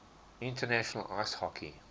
international ice hockey